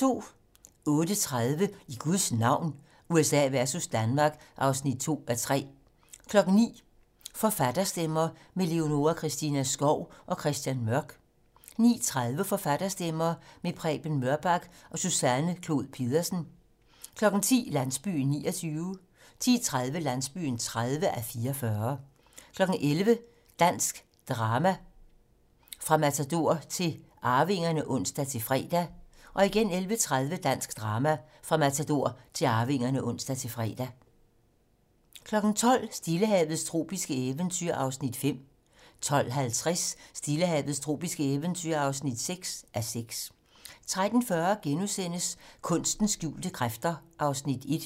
08:30: I Guds navn - USA versus Danmark (2:3) 09:00: Forfatterstemmer - med Leonora Christina Skov og Christian Mørk 09:30: Forfatterstemmer - med Preben Mørkbak og Susanne Clod Pedersen 10:00: Landsbyen (29:44) 10:30: Landsbyen (30:44) 11:00: Dansk drama - fra Matador til Arvingerne (ons-fre) 11:30: Dansk drama - fra Matador til Arvingerne (ons-fre) 12:00: Stillehavets tropiske eventyr (5:6) 12:50: Stillehavets tropiske eventyr (6:6) 13:40: Kunstens skjulte kræfter (Afs. 1)*